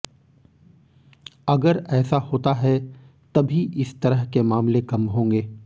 अगर ऐसा होता है तभी इस तरह के मामले कम होंगे